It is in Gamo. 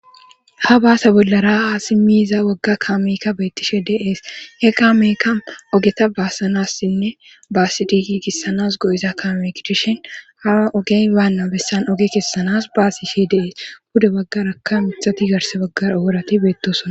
Ha baase bollara asi miiza wagga kaamekka beettishe deees he kaamekka ogeta baassanassinne baasidiiki kesanas go'iza kaamek dishin hawa ogey baanna bessan oge kessanas baasishe des. bude waggaraka mithati garse baggara worati beettosona.